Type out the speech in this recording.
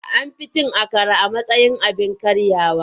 An fi cin akara a matsayin abin karyawa.